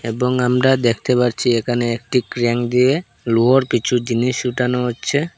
এবং আমরা দেখতে পারছি এখানে একটি ক্রেন দিয়ে লোহার কিছু জিনিস উঠানো হচ্ছে।